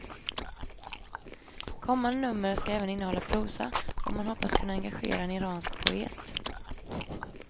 Kommande nummer ska även innehålla prosa, och man hoppas kunna engagera en iransk poet.